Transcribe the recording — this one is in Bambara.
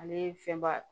Ale ye fɛn ba